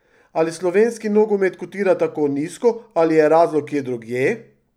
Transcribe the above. Ali slovenski nogomet kotira tako nizko ali je razlog kje drugje?